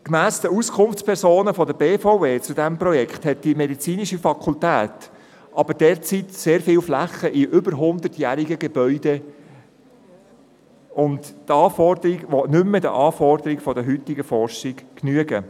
Gemäss den Auskunftspersonen der BVE zu diesem Projekt hat die medizinische Fakultät jedoch derzeit sehr viele Flächen in über hundertjährigen Gebäuden, die nicht mehr den Anforderungen an die heutige Forschung genügen.